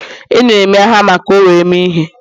Enyere m ya hama ka o were mee ihe.